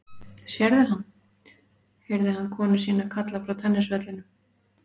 Sérðu hann? heyrði hann konu sína kalla frá tennisvellinum.